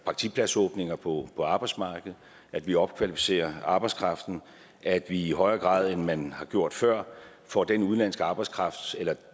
praktikpladsåbninger på arbejdsmarkedet at vi opkvalificerer arbejdskraften at vi i højere grad end man har gjort før får den udenlandske arbejdskraft eller